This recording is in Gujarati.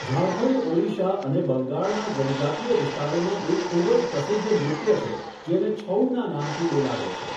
ઝારખંડ, ઓડિશા અને બંગાળના જનજાતિય વિસ્તારોમાં એક ખૂબ જ પ્રસિદ્ધ નૃત્ય છે જેને છઉના નામથી બોલાવે છે.